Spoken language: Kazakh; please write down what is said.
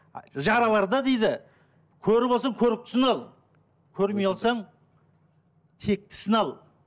жарыларды дейді көрі болсаң көріктісін ал көрмей алсаң тектісін ал